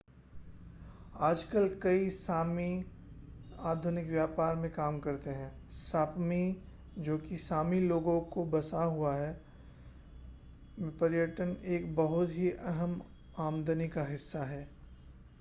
आजकल कई sámi आधुनिक व्यापार में काम करते हैं sápmi जो कि sámi लोगों से बसा हुआ है में पर्यटन एक बहुत ही अहम् आमदनी का हिस्सा है।